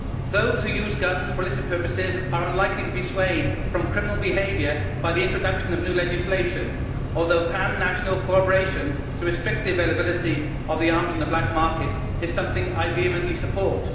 Those who use guns for illicit purposes are unlikely to be swayed from criminal behaviour by the introduction of new legislation, although pan national cooperation to restrict the availability of arms on the black market is something I vehemently support.